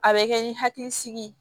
A bɛ kɛ ni hakilisigi ye